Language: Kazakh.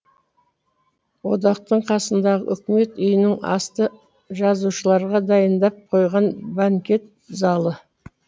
одақтың қасындағы үкімет үйінің асты жазушыларға дайындап қойған банкет залы